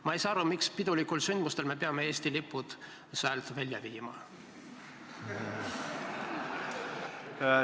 Ma ei saa aru, miks pidulikel sündmustel me peame Eesti lipud säält välja viima?